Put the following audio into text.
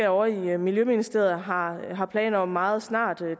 ovre i miljøministeriet har har planer om meget snart